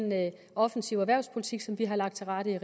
offensive erhvervspolitik som vi har lagt til rette i